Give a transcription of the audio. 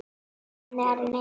Hvað með Aron Einar?